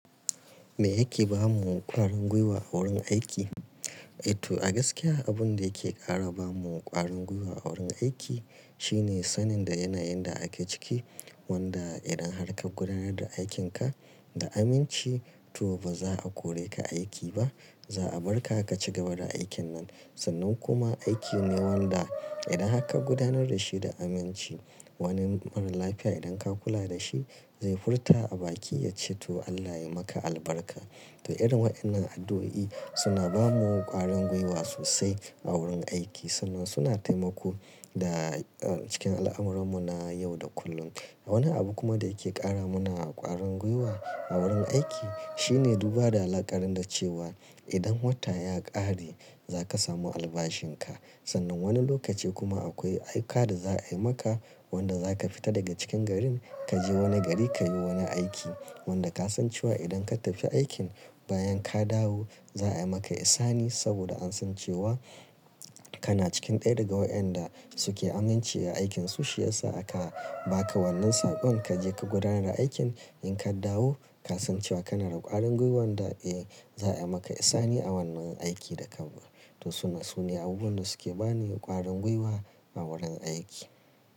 Me yake ba mu ƙwarangwewa a wurin aiki? To a gaskiya abin da yake ƙara ba mu ƙwari ngwuiwa a wurin aiki shine sanin da yanayin da ake ciki wanda idan har ka gudanar da aikinka da aminci to baza a kore ka aiki ba. Za a bar ka ka ci gaba da aikin nan. Sannan kuma aiki ne wanda idan har ka gudanar da shi da aminci, wani maralafiya idan ka kula da shi zai furta a bakin ya ce to Allah ya maka albarka. To irin waɗannan addu'o'i suna bamu ƙwaringwuiwa sosai a wurin aiki sannan suna taimako da, ah, cikin al'amuran mu na yau da kullum. Wani abu kuma da yake ƙara mana ƙwaringwuiwa a wurin aiki shine duba da alaƙar da cewa idan wata ya ƙare za ka samu albashin ka. Sannan wani lokaci kuma akwai aika da za a yi maka wanda za ka fita daga cikin garin ka je wani gari ka yi wani aiki wanda ka san cewa idan ka tafi aikin bayan ka dawo za a yi maka ihsani saboda an san cewa kana cikin ɗaya daga waɗanda suke aminci a aikin su. Shi ya sa aka baka wannan saƙon ka je ka gudanar da aikin in ka dawo ka san cewa kana da ƙwarangwewan da, eh za a yi maka ihsani a wannan aikin da ka. To su ne, su ne abubuwan da suke bani ƙwaringwuiwa a wurin aiki.